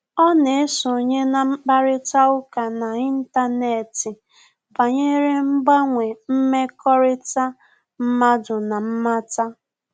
Ọ́ nà-èsonye na mkparịta ụka n’ị́ntánétị̀ banyere mgbanwe mmekọrịta mmadụ na mmata.